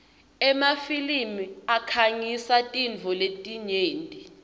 emafilimi akhangisa tintfo letinyenti